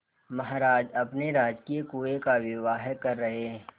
महाराज अपने राजकीय कुएं का विवाह कर रहे